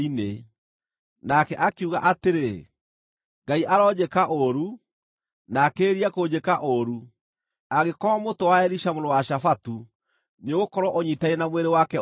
Nake akiuga atĩrĩ, “Ngai aronjĩka ũũru, na akĩrĩrĩrie kũnjĩka ũũru, angĩkorwo mũtwe wa Elisha mũrũ wa Shafatu nĩũgũkorwo ũnyiitaine na mwĩrĩ wake ũmũthĩ!”